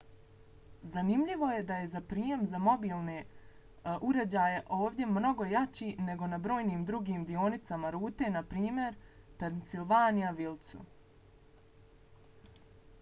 zanimljivo je da je prijem za mobitele ovdje mnogo jači nego na brojnim drugim dionicama rute npr. u pennsylvania wildsu